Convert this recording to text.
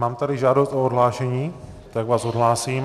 Mám tady žádost o odhlášení, tak vás odhlásím.